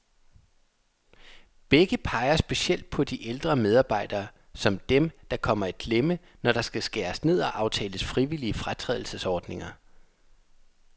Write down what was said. Begge peger specielt på de ældre medarbejdere, som dem, der kommer i klemme, når der skal skæres ned og aftales frivillige fratrædelsesordninger.